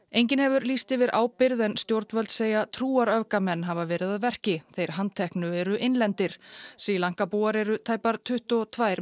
enginn hefur lýst yfir ábyrgð en stjórnvöld segja hafa verið að verki þeir handteknu eru innlendir Sri Lanka búar eru tæpar tuttugu og tvær